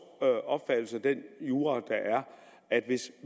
opfattelse af den jura der er at hvis